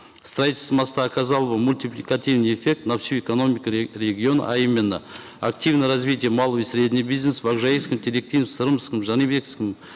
строительство моста оказало бы мультипликативный эффект на всю экономику региона а именно активное развитие малого и среднего бизнеса в акжаикском теректи сырымском жанибекском